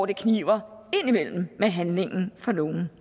det kniber indimellem med handlingen for nogle